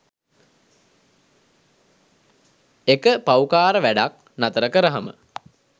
එක පව්කාර වැඞක් නතර කරහම